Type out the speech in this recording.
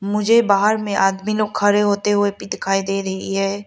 मुझे बाहर में आदमी लोग खड़े होते हुए भी दिखाई दे रही है।